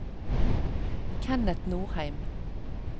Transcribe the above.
Kenneth Nordheim